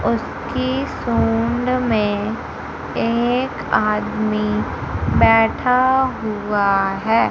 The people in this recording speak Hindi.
उसकी सूंड में एक आदमी बैठा हुआ है।